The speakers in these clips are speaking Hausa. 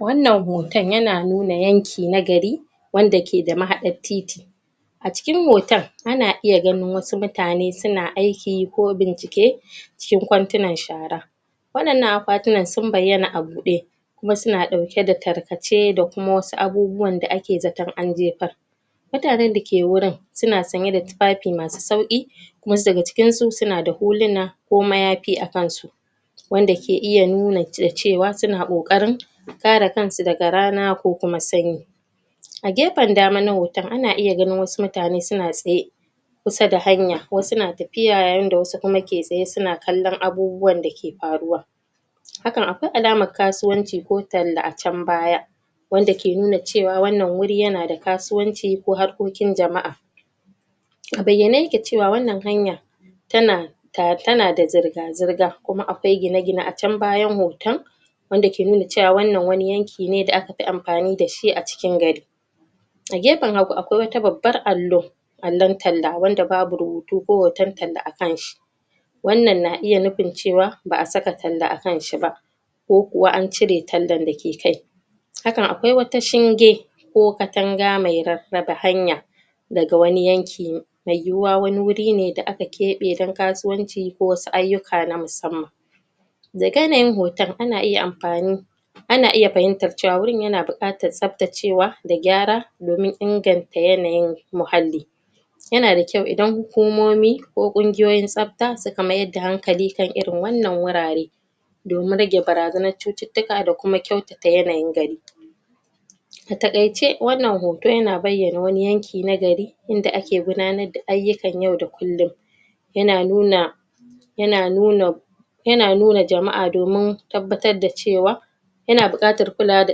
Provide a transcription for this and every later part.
Wannan hoton yana nuna yanki na gari wanda ke da mahaɗar titi acikin hotan ana iya ganin wasu mutane mutane suna aiki ko bincike cikin kwantinan shara wannan akwatinan sun baiyana a buɗe kuma sun ɗauke da tarkace da kuma wasu abubuwan da ake zatan an jefar mutannan dake wurin sunan sanye da tufafi masu sauki wasu daga cikin su sunada huluna ko mayafi akan su wanda ke iya nuna cewa suna ƙoƙarin kare kansu daga rana ko kuma sanyi agefan dama na hoton ana iya ganin wasu mutane suna tsaye kusa da hanya wasu na tafiya yayin da wasu ke tsaye suna kallon abubuwan dake faruwa hakan akwai alaman kasuwanci ko talla acan baya wanda ke nuna cewa wannan guri yanada kasuwanci ko harkokin jama'a abaiyane yake cewa wannan hanya tana tana da zurga zurga kuma akwai gine gine acan bayan hoton wanda ke nuna cewan wannan wani yan kine da akafi amfani dashi acikin gari agefen hagun akwai wata babban allo allon talla wanda babu ru butu ko hotan talla akanshi wannan na iya nufin cewa ba a saka talla akan shiba ko kuwa ancire tandan dake kai hakan akwai wata shinge ko katanga me raraba hanaya daga wani yanki meyuwuwa wani gurine da aka keɓe dan kasuwanci ko wasu aiyuka na musamman da yanayin hoton ana iya amfani ana iya fahimtar cewa gurin yana buƙatar tar tsaftacewa da gyara domin inganta yanayin muahalli yanada kyau idan huku momi ko ƙungiyoyin tsaf ta suka maida hankali irin wannan gurare damin rage bara zanan cucuctika ta yanayin gari atakaice wannan hoto yana baiyana wani yanki ki na gari inda ake gudanar da ayyukan yau da kullum yana nuna ya nuna yana nuna jama'a domin tabbatar da cewa yana buƙatar kulawa da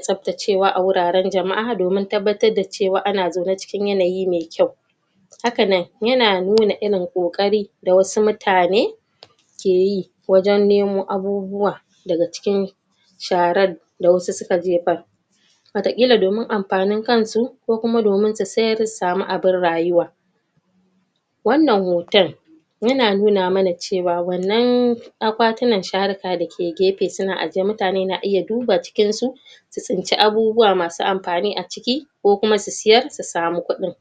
tsaf tacewa aguraran jama'a domin tabbatar da cewa ana zaune cikin yana yi me kyau hakanan yana nuna irin ƙoƙari da wasu mutane keyi wajan nemo abubuwa da cikin sharad da wasu suka jefar wata ƙila domin amfanin kansu ko kuma domin su siyar su samu abin rayuwa wannan hoton yana nuna mana cewa wannan akwa tinan sharaka dake ke gefe suna zaune mutane ke duba cikinsu su tsinci abubuwa masu amfani aciki ko kuma su siyar su sama kuɗin